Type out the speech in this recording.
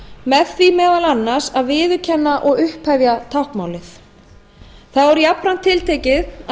með því meðal annars að viðurkenna og upphefja táknmálið þá er jafnframt tiltekið að